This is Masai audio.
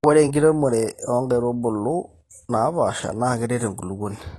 ore enkiremore oo nkaitumulu naapasha na keret enkulupuoni